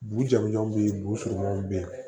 Bu jamujanw be yen b surunmanw be yen